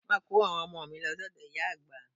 Má kò ó àwọn ọmọ mi lọ sọ́dọ̀ ìyá àgbà.